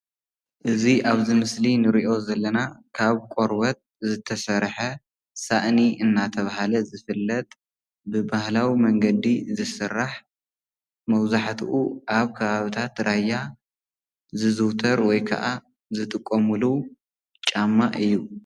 እዚ ኣብዚ ምስሊ እንሪኦ ዘለና ካብ ቆርበት ዝተሰርሐ ሳእኒ እናተባህለ ዝፍለጥ ብባህላዊ መንገዲ ዝስራሕ መብዛሕትኡ ኣብ ከባብታት ራያ ዝዝውተር ወይ ከዓ ዝጥቀምሉ ጫማ እዩ፡፡